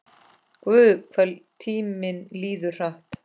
Guð, hvað tíminn líður hratt.